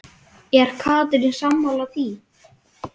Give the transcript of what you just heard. Er Katrín sammála því?